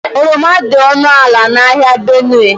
Oroma dị ọnụ ala n'ahịa Benue.